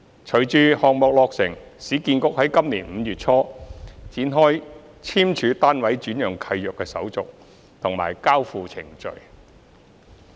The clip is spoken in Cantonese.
隨着項目落成，市建局在今年5月初展開簽署單位轉讓契約的手續和交付程序。